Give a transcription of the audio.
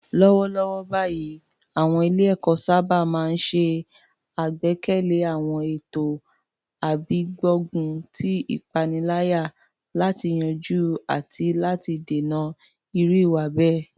Lọ́wọ́lọ́wọ́ báyìí, àwọn ilé-ẹ̀kọ́ sábà máa ń ṣe àgbékalẹ̀ àwọn ètò gbígbógun ti ìpaniláyà láti yanjú àti láti dènà irú ìwà bẹ́ẹ̀.